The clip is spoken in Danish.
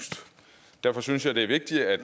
derfor synes jeg det er vigtigt at